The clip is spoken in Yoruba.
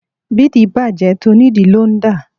Bídìí bàjẹ́ tonídìí ló ń dà